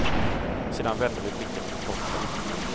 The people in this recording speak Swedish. Sedan vände vi blickarna mot toppen.